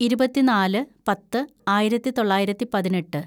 ഇരുപത്തിന്നാല് പത്ത് ആയിരത്തിതൊള്ളായിരത്തി പതിനെട്ട്‌